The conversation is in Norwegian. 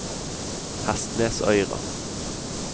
Hestnesøyra